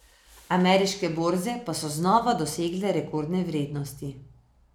Ameriške borze pa so znova dosegle rekordne vrednosti.